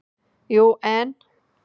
Jú, en.